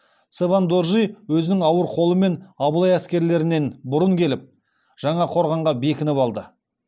цевен доржи өзінің ауыр қолымен абылай әскерлерінен бұрын келіп жаңақорғанға бекініп алды